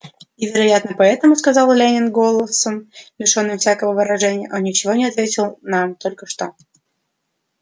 и вероятно поэтому сказал лэннинг голосом лишённым всякого выражения он ничего не ответил нам только что